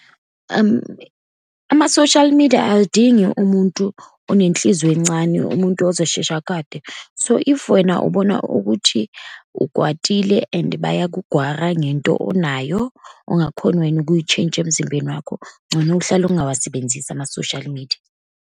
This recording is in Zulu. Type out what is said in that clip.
Ama-social media, aludingi umuntu onenhliziyo encane, umuntu ozoshesha akwate. So, if wena ubona ukuthi ukwatile and bayakugwara ngento onayo, ongakhoni wena ukuyitsheyintsha emzimbeni wakho, ngcono uhlale ungawasebenzisi ama-social media.